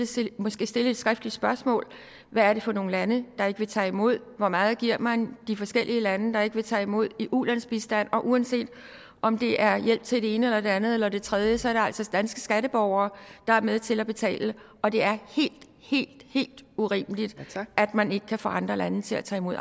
skal måske stille et skriftligt spørgsmål hvad er det for nogle lande der ikke vil tage imod hvor meget giver man de forskellige lande der ikke vil tage imod i ulandsbistand uanset om det er hjælp til det ene eller det andet eller det tredje så er det altså danske skatteborgere der er med til at betale og det er helt helt urimeligt at man ikke kan få andre lande til at tage imod